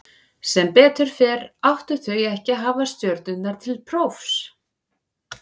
Sem betur fer áttu þau ekki að hafa stjörnurnar til prófs.